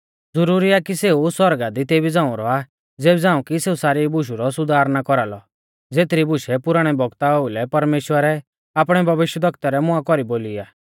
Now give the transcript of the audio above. ज़ुरुरी आ कि सेऊ सौरगा दी तेभी झ़ांऊ रौआ ज़ेबी झ़ांऊ कि सेऊ सारी बुशु रौ सुधार ना कौरालौ ज़ेथरी बुशै पुराणै बौगता ओउलै परमेश्‍वरै आपणै भविष्यवक्ता रै मुआं कौरी बोली आ